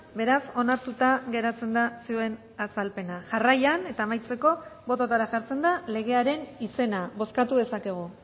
beraz onartuta geratzen da zioen azalpena jarraian eta amaitzeko bototara jartzen da legearen izena bozkatu dezakegu